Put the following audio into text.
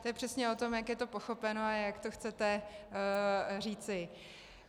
To je přesně o tom, jak je to pochopeno a jak to chcete říci.